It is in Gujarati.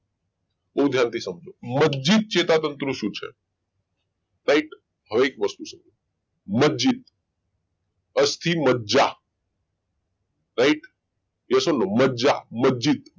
બહુ ધ્યાનથી સમજો મજજીત ચેતાતંત્ર શું છે કંઈક હવે એક વસ્તુ સમજો માજજીત અસ્થિ મજ્જા right yes મજ્જા મજજીત